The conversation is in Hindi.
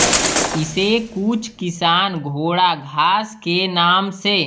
इसे कुछ किसान घोड़ा घास के नाम से